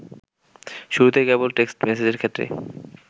শুরুতে কেবল টেক্সট মেসেজের ক্ষেত্রেই